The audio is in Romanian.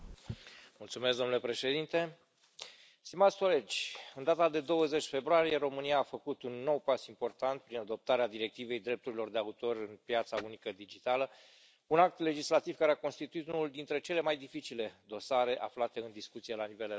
Domnule președinte, stimați colegi, în data de 20 februarie, România a făcut un nou pas important prin adoptarea directivei drepturilor de autor în piața unică digitală, un act legislativ care a constituit unul dintre cele mai dificile dosare aflate în discuție la nivel european.